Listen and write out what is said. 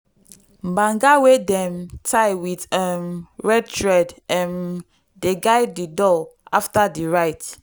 banga wey dem tie with um red thread um dey guard di doorway after di rite.